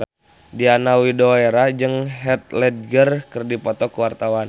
Diana Widoera jeung Heath Ledger keur dipoto ku wartawan